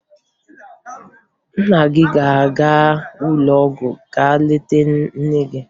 Nna gị a ga-aga ụlọọgwụ ga leta nne gị?